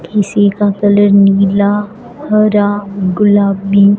किसी का कलर नीला हरा गुलाबी--